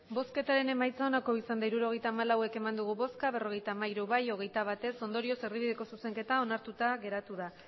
emandako botoak hirurogeita hamalau bai berrogeita hamairu ez hogeita bat ondorioz erdibideko zuzenketa onartuta geratu da